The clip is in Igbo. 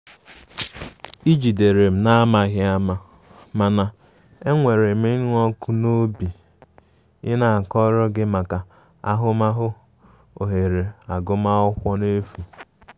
ị jidere m n'amaghi ama, mana e nwerem ińu ọkụ n'obi ị na akọrọ gi maka ahụmahụ ohere agụ m akwụkwọ n'efu